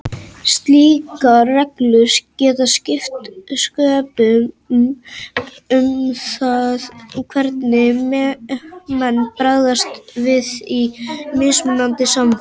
Slíkar reglur geta skipt sköpum um það hvernig menn bregðast við í mismunandi samfélögum.